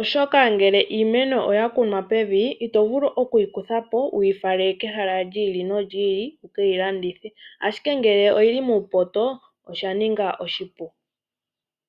Oshoka ngele iimeno oya kunwa pev, ito vulu oku yi kuthapo wu yi fale kehala lyi ili nolyi ili wu keyi landithe, ashike ngele oyili muupoto osha ninga oshipu.